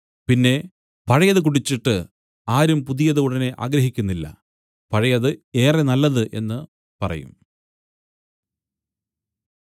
പിന്നെ പഴയത് കുടിച്ചിട്ട് ആരും പുതിയത് ഉടനെ ആഗ്രഹിക്കുന്നില്ല പഴയത് ഏറെ നല്ലത് എന്നു പറയും